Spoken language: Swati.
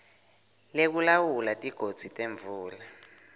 lekulawula tigodzi temvula